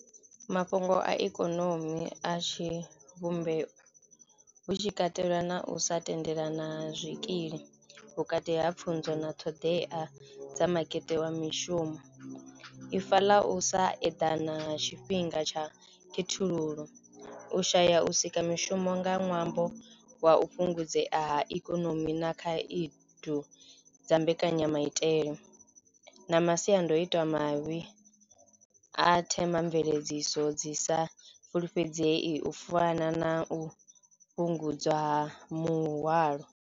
Mafhungo a ikonomi a tshi vhumbeyo hu tshi katelwa na u sa tendelana zwikili vhukati ha pfhunzo na ṱhoḓea dza makete wa mishumo. Ifa ḽa u sa eḓana tshifhinga tsha khethululo u shaya u sika mishumo nga ṅwambo wa u fhungudzea ha ikonomi na khaedu dza mbekanyamaitele na masiandoitwa mavhi a themamveledziso dzi sa fulufhedzei u fana na u fhungudza muhwalo.